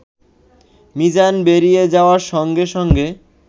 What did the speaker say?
মিজান বেরিয়ে যাওয়ার সঙ্গে সঙ্গে